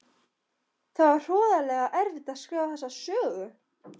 Það var hroðalega erfitt að skrifa þessa sögu.